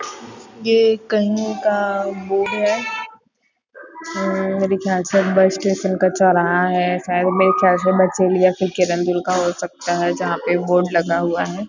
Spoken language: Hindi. ये कहीं का बोर्ड है अअअ मेरे ख्याल से बस स्टेशन का चौराहा है शायद मेरे ख्याल से बचेली या फिर किरंदुल का हो सकता है जहाँ पर बोर्ड लगा हुआ हैं।